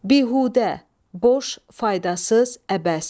Bihudə, boş, faydasız, əbəs.